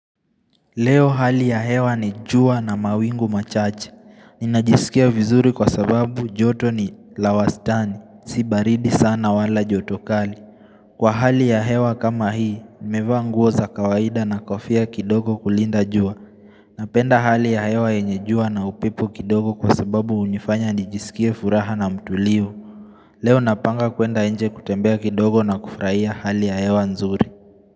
Leo hali ya hewa ni jua na mawingu machache. Ninajisikia vizuri kwa sababu joto ni la wastani. Si baridi sana wala joto kali. Kwa hali ya hewa kama hii, nimevaa nguo za kawaida na kofia kidogo kulinda jua. Napenda hali ya hewa yenye jua na upepo kidogo kwa sababu hunifanya nijisikie furaha na mtulivu. Leo napanga kwenda nje kutembea kidogo na kufurahia hali ya hewa nzuri.